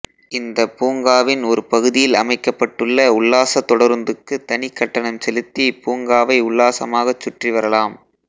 இந்தப் பூங்காவின் ஒரு பகுதியில் அமைக்கப்பட்டுள்ள உல்லாசத் தொடருந்துக்குத் தனிக் கட்டணம் செலுத்தி பூங்காவை உல்லாசமாகச் சுற்றி வரலாம்